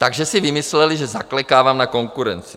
Takže si vymysleli, že zaklekávám na konkurenci.